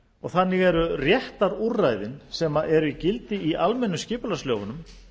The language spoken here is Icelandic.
og þannig eru réttarúrræðin sem eru í gildi í almennu skipulagslögunum